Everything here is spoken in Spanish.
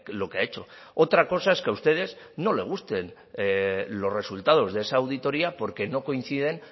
lo que ha hecho otra cosa es que a ustedes no les gusten los resultados de esa auditoria porque no coinciden